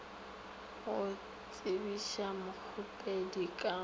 go tsebiša mokgopedi ka go